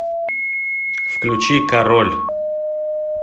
включи король